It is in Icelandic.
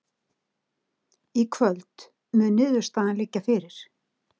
Í kvöld mun niðurstaðan liggja fyrir